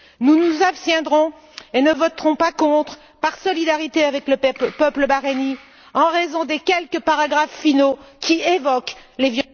Nous nous abstiendrons et ne voterons pas contre, par solidarité avec le peuple bahreïnien, en raison des quelques paragraphes finaux qui évoquent les...